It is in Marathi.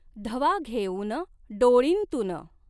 धवा घेऊन डोळींतून।